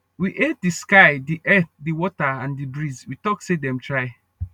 we hail the sky the earth the water and the breeze we talk say them try